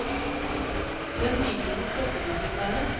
Den viser hvor flotte de kunne være.